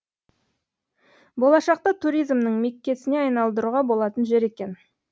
болашақта туризмнің меккесіне айналдыруға болатын жер екен